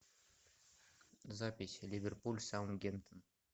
запись ливерпуль саутгемптон